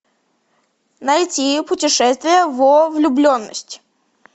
найти путешествие во влюбленность